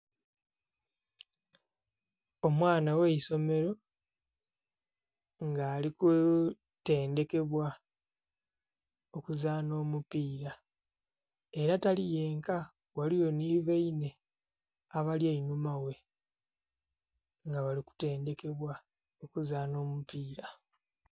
Omwana gh'eisomero nga ali kutendhekebwa okuzaana omupiira. Ela tali yenka, ghaliwo nhi bainhe, abali einhuma ghe, nga bali kutendhekebwa okuzaana omupiira.